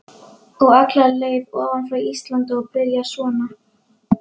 Og alla leið ofan frá Íslandi og byrjar svona